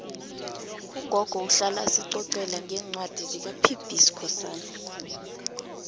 ugogo uhlala asicocela ngencwadi zikapb skhosana